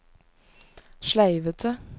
sleivete